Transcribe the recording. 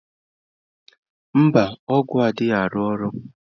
Mba, ọgwụ adịghị arụ ọrụ